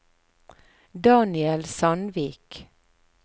Daniel Sandvik